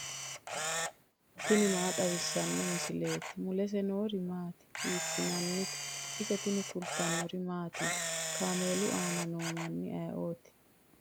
tini maa xawissanno misileeti ? mulese noori maati ? hiissinannite ise ? tini kultannori mattiya? Kaameelu aanna noo manni ayiootti?